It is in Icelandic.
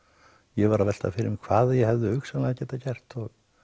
ég var að velta fyrir mér hvað ég hefði hugsanlega getað gert